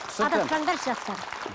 адаспаңдаршы жастар